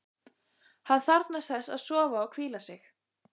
Hann þarfnast þess að sofa og hvíla sig.